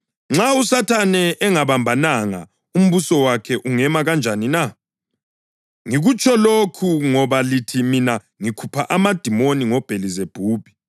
Nxa uSathane engabambananga, umbuso wakhe ungema kanjani na? Ngikutsho lokhu ngoba lithi mina ngikhupha amadimoni ngoBhelizebhubhi.